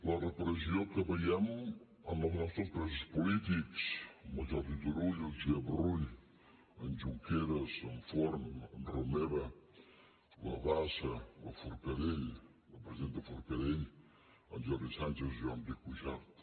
la repressió que veiem amb els nostres presos polítics en el jordi turull o el josep rull en junqueras en forn en romeva la bassa la forcadell la presidenta forcadell en jordi sànchez jordi cuixart